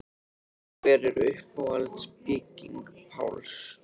En hver er uppáhalds bygging Páls?